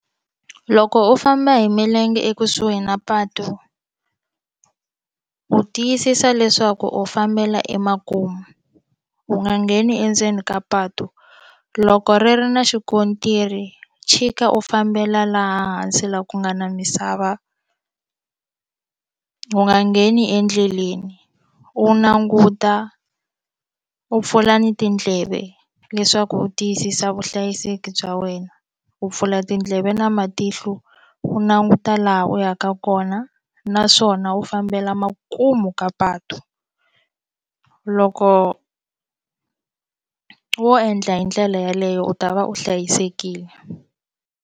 Loko u famba hi milenge ekusuhi na patu u tiyisisa leswaku u fambela emakumu u nga ngheni endzeni ka patu loko ri ri na xikontiri chika u fambela laha hansi laha ku nga na misava u nga ngheni endleleni u languta u pfula ni tindleve leswaku u tiyisisa vuhlayiseki bya wena u pfula tindleve na matihlo u languta laha u yaka kona naswona u fambela makumu ka patu loko wo endla hi ndlela yeleyo u ta va u hlayisekile.